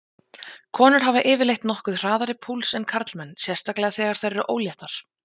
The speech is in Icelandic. Konur hafa yfirleitt nokkuð hraðari púls en karlmenn, sérstaklega þegar þær eru óléttar.